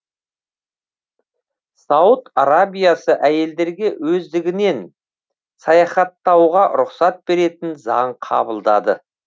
сауд арабиясы әйелдерге өздігінен саяхаттауға рұқсат беретін заң қабылдады